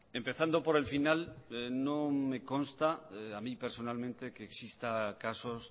empezando por el final no me consta a mí personalmente que existan casos